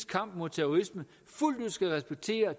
kamp mod terrorisme fuldt ud skal respektere